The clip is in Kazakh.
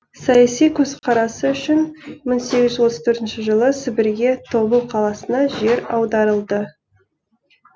саяси көзқарасы үшін мың сегіз жүз отыз төртінші жылы сібірге тобыл қаласына жер аударылды